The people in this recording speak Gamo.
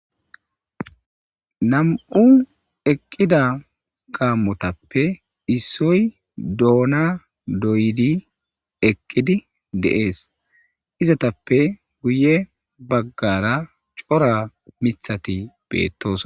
nam7u eqqida gammotappe issoy doona doyidi eqqidi de7ees izatappe guye baggara cora mithati beettoos